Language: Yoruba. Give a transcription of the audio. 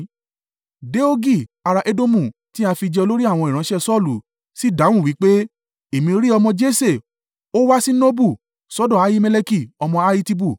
Doegi ará Edomu tí a fi jẹ olórí àwọn ìránṣẹ́ Saulu, sì dáhùn wí pé, “Èmi rí ọmọ Jese, ó wá sí Nobu, sọ́dọ̀ Ahimeleki ọmọ Ahitubu.